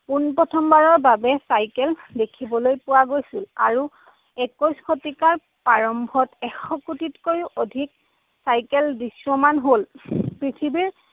পোন প্ৰথমবাৰৰ বাবে চাইকেল দেখিবলৈ পোৱা গৈছিল। আৰু একৈশ শতিকাৰ প্ৰাৰম্ভত এশ কোটিতকৈও অধিক চাইকেল দৃশ্যমান হ'ল। পৃথিৱীৰ